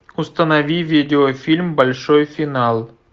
установи видеофильм большой финал